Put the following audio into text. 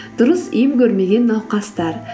дұрыс ем көрмеген науқастар